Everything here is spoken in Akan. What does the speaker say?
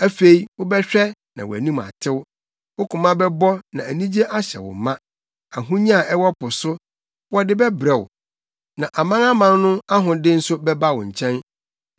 Afei wobɛhwɛ na wʼanim atew, wo koma bɛbɔ na anigye ahyɛ no ma; ahonya a ɛwɔ po so, wɔde bɛbrɛ wo, na amanaman no ahode nso bɛba wo nkyɛn.